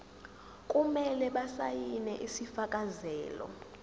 kumele basayine isifakazelo